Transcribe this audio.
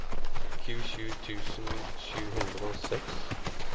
tjuesju tusen sju hundre og seks